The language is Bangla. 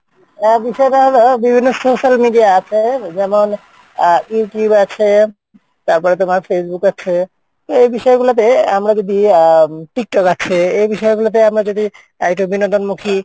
আহ বিষয়টা হলো বিভিন্ন social media আছে যেমন আহ Youtube আছে তারপরে তোমার Facebook আছে তো এই বিষয়গুলাতে আমরা যদি আহ উম Tiktok আছে এই বিষয়গুলোতে আমরা যদি আহ একটু বিনোদন মুখী,